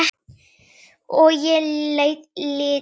Og ég lýt niður.